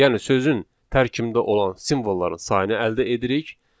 Yəni sözün tərkibində olan simvolların sayını əldə edirik